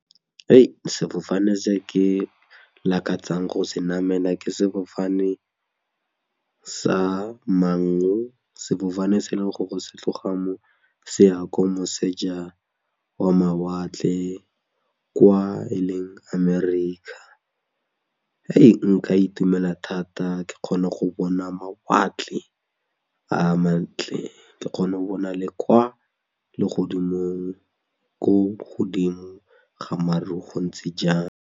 Sefofane se ke lakatsang go se namela ke sefofane sa Mango, sefofane se e leng gore se tloga mo se ya ko moseja wa mawatle kwa e leng America, nka itumela thata ke kgone go bona mawatle a mantle ke kgone go bona le kwa legodimong ko godimo ga maru go ntse jang.